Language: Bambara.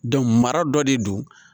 mara dɔ de don